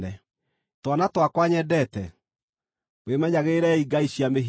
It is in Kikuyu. Twana twakwa nyendete, mwĩmenyagĩrĩrei ngai cia mĩhianano.